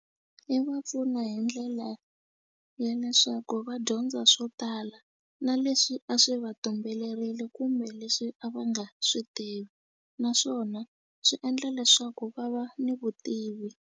I va pfuna hi ndlela ya leswaku va dyondza swo tala na leswi a swi va tumberile kumbe leswi a va nga swi tivi naswona swi endla leswaku va va ni vutivi.